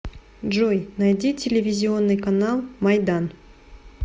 джой найди телевизионный канал майдан